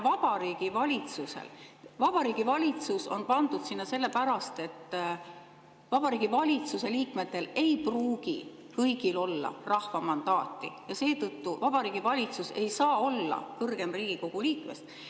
Ja Vabariigi Valitsus on pandud sinna sellepärast, et Vabariigi Valitsuse liikmetel ei pruugi kõigil olla rahva mandaati ja seetõttu Vabariigi Valitsus ei saa olla kõrgem Riigikogu liikmest.